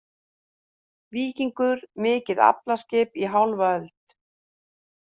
Víkingur mikið aflaskip í hálfa öld